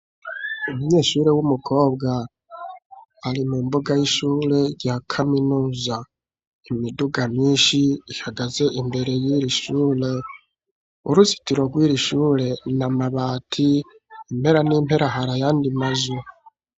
Umunyeshure w'umukobwa ari mumbuga y'ishure ya kaminuza imiduga myinshi ihagaze imbere y'irishure uruzitiro rw'irishure na mabati impera n'impera har'ayandi mazu.